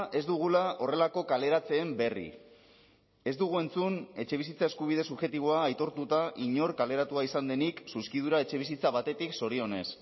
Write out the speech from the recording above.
ez dugula horrelako kaleratzeen berri ez dugu entzun etxebizitza eskubide subjektiboa aitortuta inor kaleratua izan denik zuzkidura etxebizitza batetik zorionez